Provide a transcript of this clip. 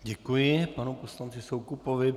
Děkuji panu poslanci Soukupovi.